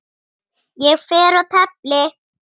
Ég fer og tefli!